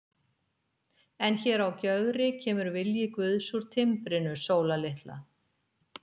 En hér á Gjögri kemur vilji guðs úr timbrinu, Sóla litla.